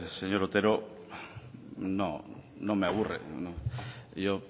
señor otero no no me aburre yo